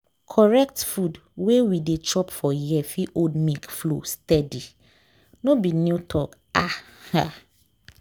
correct food wey we dey chop for here fit hold milk flow steady. no be new talk… ah ah.